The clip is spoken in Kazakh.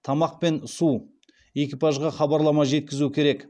тамақ пен су экипажға хабарлама жеткізуі керек